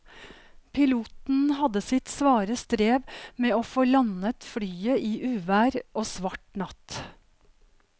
Piloten hadde sitt svare strev med å få landet flyet i uvær og svart natt.